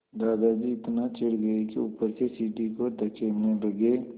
दादाजी इतना चिढ़ गए कि ऊपर से सीढ़ी को धकेलने लगे